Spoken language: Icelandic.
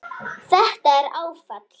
Þetta er áfall.